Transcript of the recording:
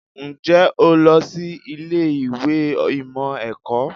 Ǹjẹ́ o lọ sí ilé ìwé ìmọ̀ ẹ̀kọ́?